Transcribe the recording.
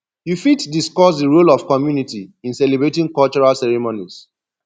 you fit discuss di role of community in celebrating cultural ceremonies